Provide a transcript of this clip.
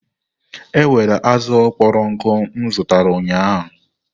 Ewerela azụ kpọrọ nkụ m zụtara ụnyaahụ!